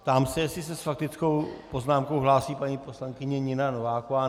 Ptám se, jestli se s faktickou poznámkou hlásí paní poslankyně Nina Nováková.